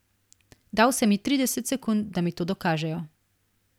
Dal sem jim trideset sekund, da mi to dokažejo.